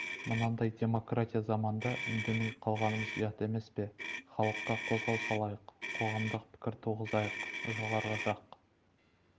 мынандай демократия заманында үндемей қалғанымыз ұят емес пе халыққа қозғау салайық қоғамдық пікір туғызайық жоғары жақ